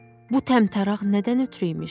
Bu təmtəraq nədən ötrü imiş?